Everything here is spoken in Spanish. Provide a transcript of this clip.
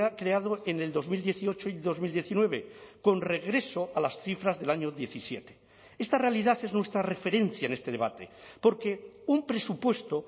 creado en el dos mil dieciocho y dos mil diecinueve con regreso a las cifras del año diecisiete esta realidad es nuestra referencia en este debate porque un presupuesto